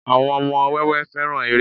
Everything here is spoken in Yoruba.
àwọn ọmọ wẹwẹ fẹràn eré